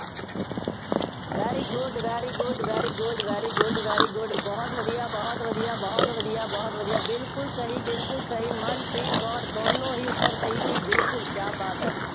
very good, very good, very good, very good, very good ਬਹੁਤ ਵਧੀਆ, ਬਹੁਤ ਵਧੀਆ, ਬਹੁਤ ਵਧੀਆ, ਬਹੁਤ ਵਧੀਆ ਬਿਲਕੁੱਲ ਸਹੀ, ਬਿਲਕੁੱਲ ਸਹੀ, ਮਨਪ੍ਰੀਤ ਕੌਰ, ਦੋਨੋਂ ਹੀ ਉੱਤਰ ਸਹੀ ਸੀ, ਬਿਲਕੁੱਲ, ਕਿਆ ਬਾਤ ਹੈ।